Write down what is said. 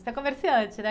Você é comerciante, né?